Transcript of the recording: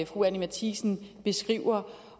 fru anni matthiesen beskriver